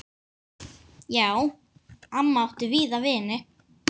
Já, amma átti víða vini.